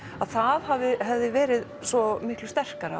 að það hefði verið svo miklu sterkara